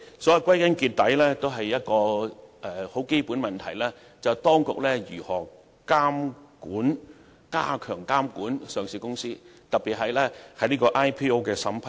因此，歸根結底，最基本的問題是當局如何加強監管上市公司，特別是 IPO 的審批。